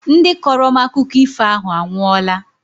Ndị kọrọ m akụkọ ifo ahụ anwụọla